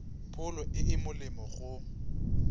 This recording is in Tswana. pholo e e molemo go